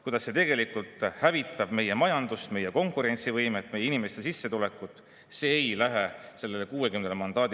Kuidas see tegelikult hävitab meie majandust, meie konkurentsivõimet ja meie inimeste sissetulekut – see ei lähe neile 60-le korda.